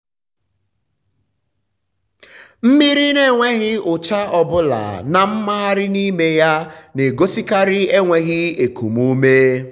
mmiri n’enweghị ụcha ọbụla na mmgharị n’ime ya na-egosikarị enweghi ekum ume.